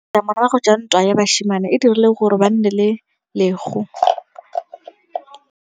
Ditlamorago tsa ntwa ya basimane e dirile gore ba nne le letlhôô.